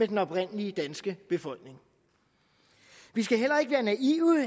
den oprindelige danske befolkning vi skal heller ikke være naive